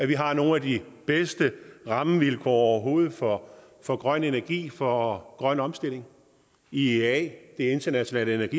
vi har nogle af de bedste rammevilkår overhovedet for for grøn energi for grøn omstilling iea det internationale